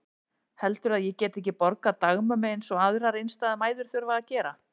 Heldurðu að ég geti ekki borgað dagmömmu eins og aðrar einstæðar mæður þurfa að gera?